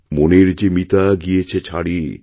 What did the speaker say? মনের যে মিতা গিয়েছে ছাড়ি